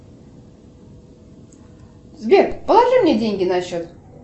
сбер положи мне деньги на счет